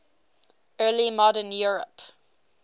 early modern europe